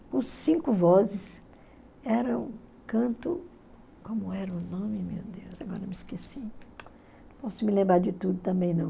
com cinco vozes, era um canto, como era o nome, meu Deus, agora me esqueci, não posso me lembrar de tudo também não.